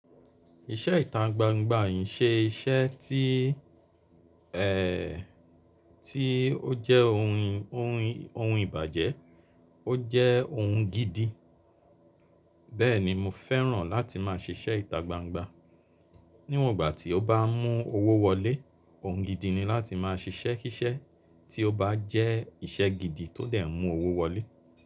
Iṣẹ́ ìta gbangba ki i ṣe iṣẹ́ tí-- tí ó jẹ́ ohun, ohun, ohun ìbàjẹ́, ó jẹ́ ohun gidi. Bẹ́ẹ̀ni mo fẹ́ràn láti máa ṣiṣẹ́ ìta gbangba. Níwọ̀n ìgbà tí o bá mú owó wọlé, ohun gidi ni láti máa ṣiṣẹ́ kíṣẹ́ tí ó bá jẹ́ iṣẹ́ gidi tó dẹ̀ n mú owó wọlé.